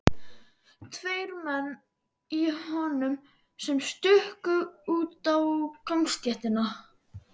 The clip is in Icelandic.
Tveir menn í honum sem stukku út á gangstéttina.